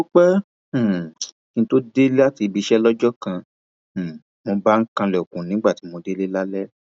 ó pẹ um kí n tóó dé láti ibi iṣẹ lọjọ kan um mo bá ń kanlẹkùn nígbà tí mo délé lálẹ